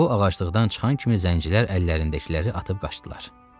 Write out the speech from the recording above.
O ağaclıqdan çıxan kimi zəncirlər əllərindəkiləri atıb qaçdılar.